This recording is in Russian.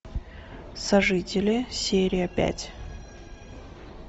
сожители серия пять